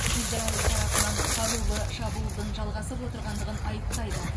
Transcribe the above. израиль тарапынан қарулы шабуылдың жалғасып отырғандығын айыптайды